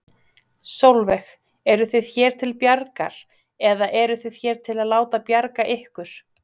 Sólveig: Eruð þið hér til bjargar, eða eruð þið hér til að láta bjarga ykkur?